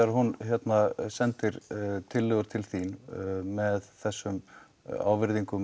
hún sendir tillögur til þín með þessum ávirðingum